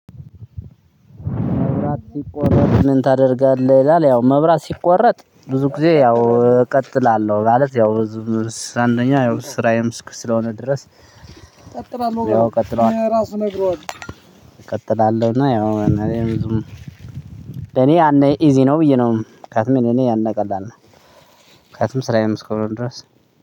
መብራት ሲቆረጥ ምን ታደርጋለህ? ይላል ያው መብራት ሲቆረጥ ብዙ ጊዜ ያው እቀጥላለሁ ማለት ያው አንደኛ ስራዬም የምስክ ስለሆነ ድረስ እቀጥላለሁ ያው እቀጥላለሁ እቀጥላለሁና ያው እኔ ብዙም እኔ አንድ ኢዚ ነው ብዬ ነው ከዛ ምን እኔ ያኔ ቀላል ነው ከዛም ስራዬም እስከሆነ ድረስ።